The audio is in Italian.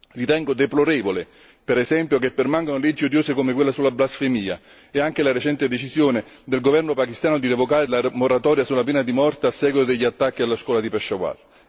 Ritengo deplorevole, per esempio, che permangano leggi odiose come quella sulla blasfemia e anche la recente decisione del governo pachistano di revocare la moratoria sulla pena di morte a seguito degli attacchi alla scuola di Peshawar.